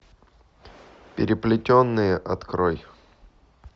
переплетенные открой